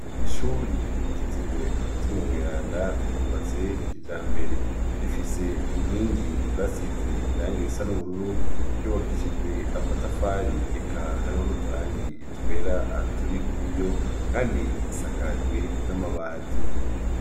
Ishuri ryitiriwe Mutima mweranda ryubatse ikijambere rifise inkingi basize irangi risa n'ubururu ryubakishijwe amatafari eka hariho n'uturangi twera turi kuri yo kandi isakajwe n'amabati.